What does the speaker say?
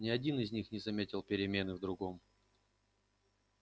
ни один из них не заметил перемены в другом